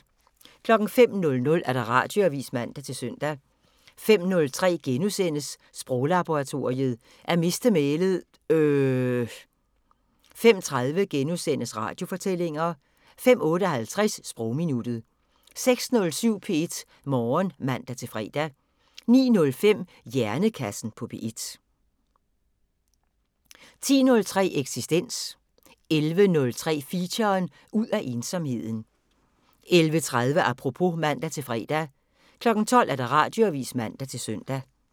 05:00: Radioavisen (man-søn) 05:03: Sproglaboratoriet: At miste mælet - øhhhhhhhh * 05:30: Radiofortællinger * 05:58: Sprogminuttet 06:07: P1 Morgen (man-fre) 09:05: Hjernekassen på P1 10:03: Eksistens 11:03: Feature: Ud af ensomheden 11:30: Apropos (man-fre) 12:00: Radioavisen (man-søn)